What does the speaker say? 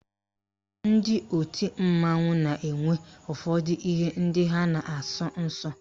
Ndị otu mmanwụ na-enwe ụfọdụ ihe ndị ha na-asọ nsọ